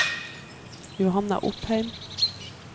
Johanna Opheim